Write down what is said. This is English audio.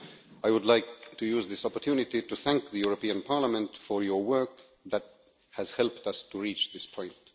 I would like to use this opportunity to thank the European Parliament for your work that has helped us to reach this point.